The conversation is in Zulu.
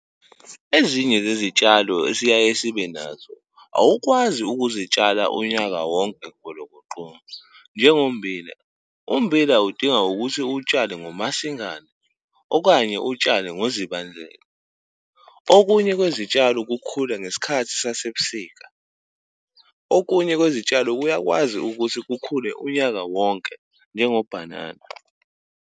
Ezinye zezitshalo esiyaye sibe nazo, awukwazi ukuzitshala unyaka wonke golokoqo. Njengo mmbila, ummbila udinga ukuthi uwutshale ngoMasingana, okanye uwutshale ngoZibandlela. Okunye kwezitshalo kukhula ngesikhathi sasebusika, okunye kwezitshalo kuyakwazi ukuthi kukhule unyaka wonke, njengo bhanana.